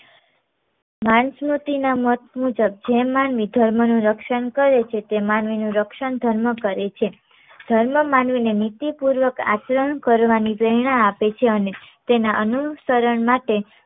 માનસ્મૃતિ ના મત મુજબ જે માનવી ધર્મનું રક્ષણ કરે છે તે માનવી નું રક્ષણ ધર્મ કરે છે. ધર્મ માનવી ને નીતિ પૂર્વક આચરણ કરવાની પ્રેરણા આપે છે અને તેના અનુસરણ માટે